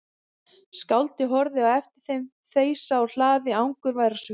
Skáldið horfði á eftir þeim þeysa úr hlaði angurvær á svip.